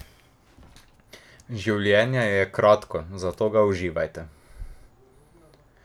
Življenje je kratko, zato ga uživajte.